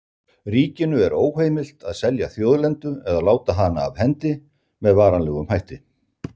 Ríkinu er óheimilt að selja þjóðlendu eða láta hana af hendi með varanlegum hætti.